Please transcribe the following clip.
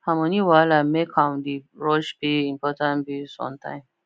her money wahala make am dey rush pay important bills on time